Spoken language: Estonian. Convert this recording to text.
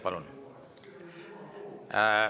Palun!